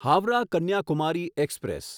Howrah Kanyakumari express